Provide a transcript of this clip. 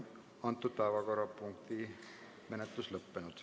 Päevakorrapunkti menetlus on lõppenud.